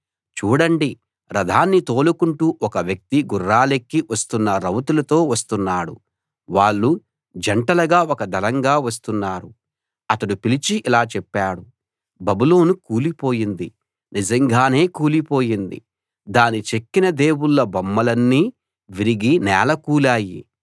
చూడండి రథాన్ని తోలుకుంటూ ఒక వ్యక్తి గుర్రాలెక్కి వస్తున్న రౌతులతో వస్తున్నాడు వాళ్ళు జంటలుగా ఒక దళంగా వస్తున్నారు అతడు పిలిచి ఇలా చెప్పాడు బబులోను కూలి పోయింది నిజంగానే కూలిపోయింది దాని చెక్కిన దేవుళ్ళ బొమ్మలన్నీ విరిగి నేలకూలాయి